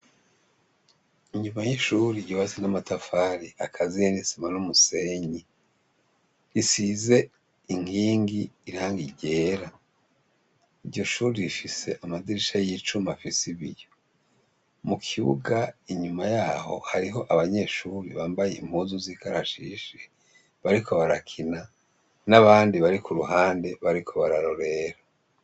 Inyuma y’ishure yubatse n’amatafari akaziye n’isima n’umusenyi isize inkingi irangi ryera, iryoshure rifise amadirisha y’icuma afise ibiyo, mu kibuga inyuma yaho hariho abanyeshure bambaye impuzu z’ikarashishi bariko barakina n’abandi bari kuruhande bariko bararorera.